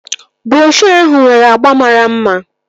Broshuo ahụ nwere agba mara mma